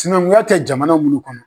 Sinankunya tɛ jamana mun kɔnɔ